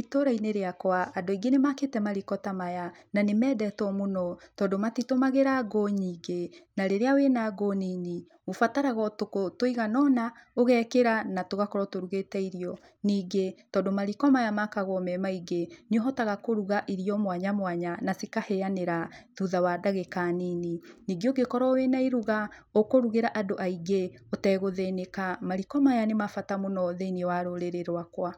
Itũũra-inĩ rĩakwa, andũ aingĩ nĩ maakĩte mariko ta maya na nĩ mendetwo mũno tondũ matitũmagĩra ngũ nyingĩ, na rĩrĩa wĩna ngũ nini ũbataraga o tũkũ tũigana ũna ũgekĩra na tũgakorwo tũrũgĩte irio. Ningĩ, tondũ mariko maya makagwo me maingĩ, nĩ ũhotaga kũruga irio mwanya mwanya na cikahĩanĩra thutha wa ndagĩka nini. Ningĩ ũngĩkorwo wĩna iruga ũkũrugĩra andũ aingĩ ũtegũthĩnĩka. Mariko maya nĩ ma bata mũno thĩiniĩ wa rũrĩrĩ rwakwa.